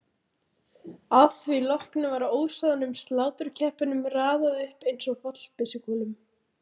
Að því loknu var ósoðnum sláturkeppunum raðað upp einsog fallbyssukúlum.